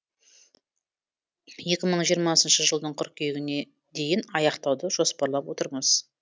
екі мың жиырмасыншы жылдың қыркүйегіне дейін аяқтауды жоспарлап отырмыз